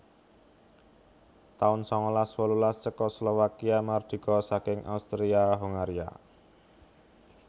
taun sangalas wolulas Cekoslowakia mardika saking Austria Hongaria